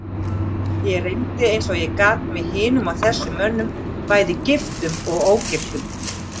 Ég reyndi eins og ég gat, með hinum og þessum mönnum, bæði giftum og ógiftum.